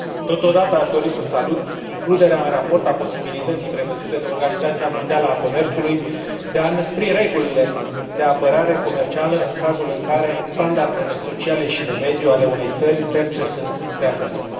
Totodată aș dori să salut includerea în raport a posibilității, prevăzute de Organizația Mondială a Comerțului, de a înăspri regulile de apărare comercială în cazul în care standardele sociale și de mediu ale unei țări terțe sunt prea joase.